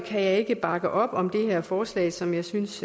kan jeg ikke bakke op om det her forslag som jeg synes